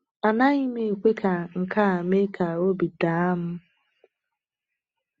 Anaghị m ekwe ka nke a mee ka obi daa m.